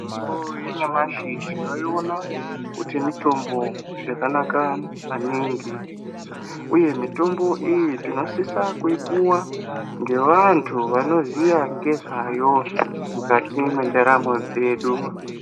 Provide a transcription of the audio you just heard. Mitombo yenyamashi tinoiona kuti mitombo yakanaka maningi uye mitombo iyi tinosisa kuipuwa ngevantu vanoziya ngezvayo mukati mwendaramo yedu.